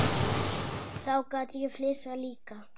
Þá gat ég flissað líka.